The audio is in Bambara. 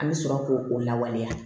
An bɛ sɔrɔ k'o o lawaleya